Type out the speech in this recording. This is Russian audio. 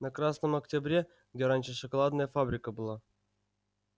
на красном октябре где раньше шоколадная фабрика была